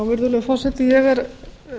virðulegur forseti ég er